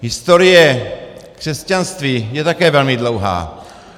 Historie křesťanství je také velmi dlouhá.